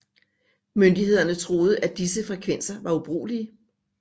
Myndighederne troede at disse frekvenser var ubrugelige